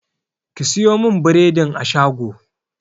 Ki sayo min bredin a shago!